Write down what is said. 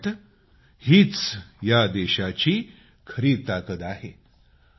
आणि मला वाटतं हीच या देशाची खरी ताकद आहे